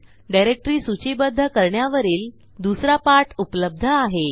directory सूचीबध्द करण्यावरील दुसरा पाठ उपलब्ध आहे